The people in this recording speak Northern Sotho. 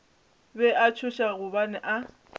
be a tšhoša gobane a